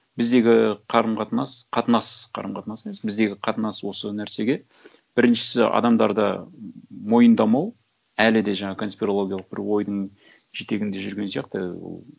біздегі қарым қатынас қатынас қарым қатынас емес біздегі қатынас осы нәрсеге біріншісі адамдарда мойындамау әлі де жаңағы конспирологиялық бір ойдың жетегінде жүрген сияқты